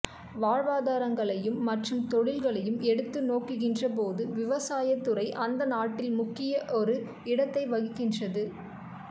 வாழ்வாதாரங்களையும் மற்றும் தொழில்களையும் எடுத்து நோக்குகின்ற போது விவசாயத் துறை அந்த நாட்டில் முக்கிய ஒரு இடத்தை வகிக்கின்றது